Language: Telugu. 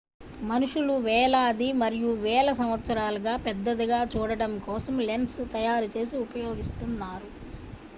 మనుషులు వేలాది మరియు వేల సంవత్సరాలుగా పెద్దదిగా చూడటం కోసం లెన్స్ తయారు చేసి ఉపయోగిస్తున్నారు